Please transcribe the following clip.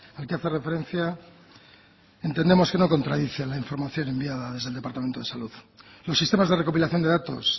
al que hace referencia entendemos que no contradice la información enviada desde el departamento de salud los sistemas de recopilación de datos